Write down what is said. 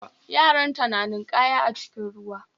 Yaranta na ninkaya a cikin ruwa